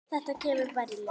Þetta kemur bara í ljós.